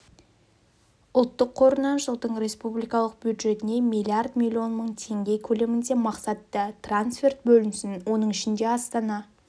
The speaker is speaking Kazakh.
ұлттық қорынан жылдың республикалық бюджетіне миллиард миллион мың теңге көлемінде мақсатты трансферт бөлінсін оның ішінде астана